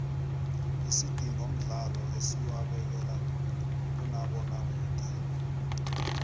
isidingo mdlalo esiwabekela kumabona kude